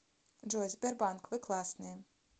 джой сбербанк вы классные